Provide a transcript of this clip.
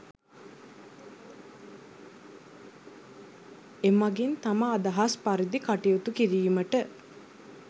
එමගින් තම අදහස් පරිදි කටයුතු කිරීමට